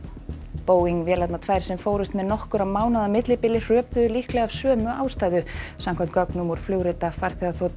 Boeing vélarnar tvær sem fórust með nokkurra mánaða millibili hröpuðu líklega af sömu ástæðu samkvæmt gögnum úr flugrita farþegaþotu